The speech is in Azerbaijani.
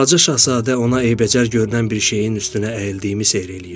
Balaca şahzadə ona eybəcər görünən bir şeyin üstünə əyildiyimi seyr eləyirdi.